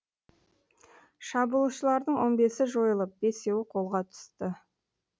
шабуылшылардың он бесіі жойылып бесеуі қолға түсті